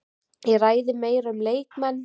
Ég ræði meira um leikmenn.